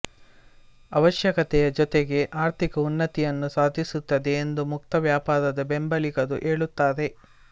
ಅವಶ್ಯಕತೆಯ ಜೊತೆಗೆ ಆರ್ಥಿಕ ಉನ್ನತಿಯನ್ನೂ ಸಾಧಿಸುತ್ತದೆ ಎಂದು ಮುಕ್ತ ವ್ಯಾಪಾರದ ಬೆಂಬಲಿಗರು ಹೇಳುತ್ತಾರೆ